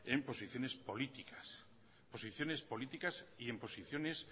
en posiciones políticas en posiciones políticas y en posiciones